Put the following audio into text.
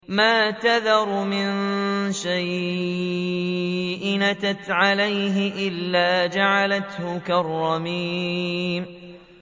مَا تَذَرُ مِن شَيْءٍ أَتَتْ عَلَيْهِ إِلَّا جَعَلَتْهُ كَالرَّمِيمِ